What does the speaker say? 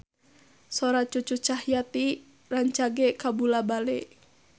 Sora Cucu Cahyati rancage kabula-bale